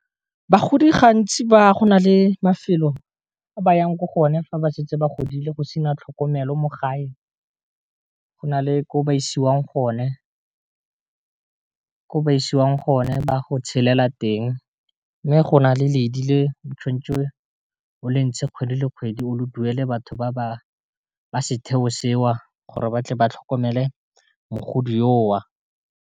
Bagodi gantsi ba go na le mafelo a ba yang ko go one fa ba setse ba godile go sena tlhokomelo mo gae, go na le ko ba isiwang gone, ba go tshelela teng. Mme go na le ledi le o tshwantse o le ntshe kgwedi le kgwedi o le duele batho ba setheo seo gore ba tle ba tlhokomele mogodi yo wa.